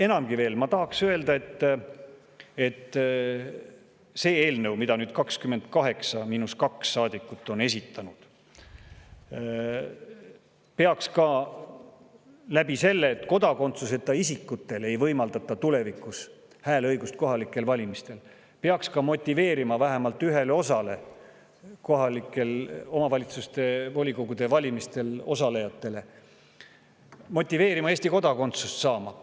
Enamgi veel, see eelnõu, mille esitasid 28 miinus 2 saadikut, peaks sellega, et kodakondsuseta isikutele ei võimaldata tulevikus hääleõigust kohalikel valimistel, motiveerima vähemalt üht osa kohalike omavalitsuste volikogude valimistel osalejaid Eesti kodakondsust saama.